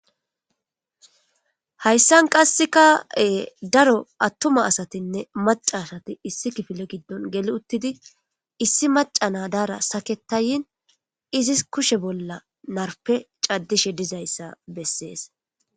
Hayssan qassekka daro attuma asatinne maca asati issi kifile giddon geli uttidi issi maca naa daara saketayin issi kushe bolla narpe caddishe diza issa bessees.